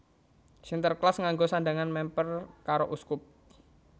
Sinterklas nganggo sandhangan mèmper karo uskup